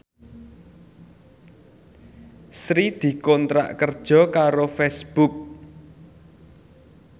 Sri dikontrak kerja karo Facebook